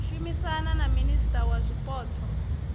shumisana na minisia wa zwipotso